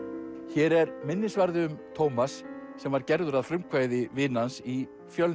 hér er minnisvarði um Tómas sem var gerður að frumkvæði vina hans í Fjölni